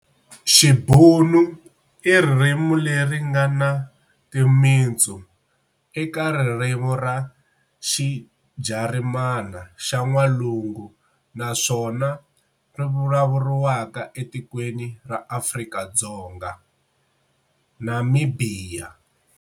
Xibhunu i ririmi leri ngana timitsu eka ririmi ra xiJarimani xa N'walungu naswona rivulavuriwa etikweni ra Afrika-Dzonga, namibhiya.